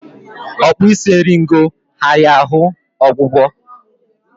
Okpi isi eringo ghara ahụ ọgwụgwọ